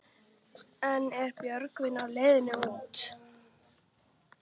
En er Björgvin á leiðinni út?